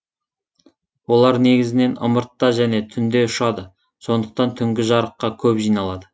олар негізінен ымыртта және түнде ұшады сондықтан түнгі жарыққа көп жиналады